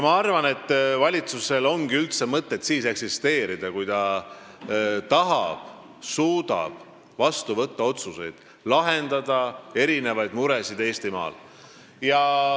Ma arvan, et valitsusel ongi mõtet üldse eksisteerida siis, kui ta tahab ja suudab vastu võtta otsuseid ning lahendada erinevaid muresid Eestimaal.